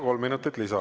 Kolm minutit lisaaega.